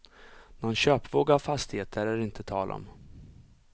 Någon köpvåg av fastigheter är det inte tal om.